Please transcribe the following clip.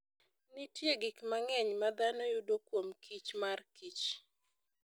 Nitie gik mang'eny ma dhano yudo kuom kichmar kich.